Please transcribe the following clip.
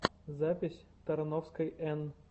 запись тарновской эн